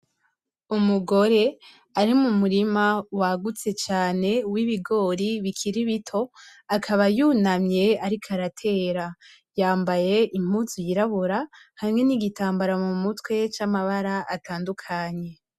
Umugore ari mu murima wagutse cane urimwo ibigori bikiri bito akaba yunamye ariko aratera yambaye impuzu y'irabura hamwe n'igitambara mu mutwe camabara atandukanye .